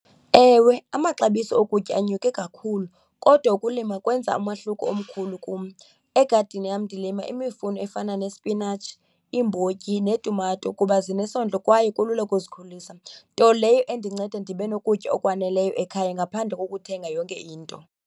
Ewe, amaxabiso okutya anyuke kakhulu kodwa ukulima kwenza umahluko omkhulu kum. Egadini yam ndilima imifuno efana nesipinatshi, iimbotyi neetumato kuba zinesondlo kwaye kulula ukuzikhulisa, nto leyo endinceda ndibe nokutya okwaneleyo ekhaya ngaphandle kokuthenge yonke into.